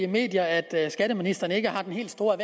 medier at skatteministeren ikke har den helt store